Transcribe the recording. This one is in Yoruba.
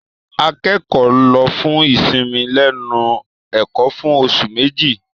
Akẹ́kọ̀ọ́ lọ fún ìsinmi lẹ́nu ẹ̀kọ́ fún oṣù Méjì.